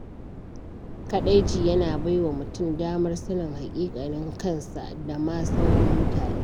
Kaɗaici yana bai wa mutum damar sanin haƙiƙanin kansa da ma sauran mutane.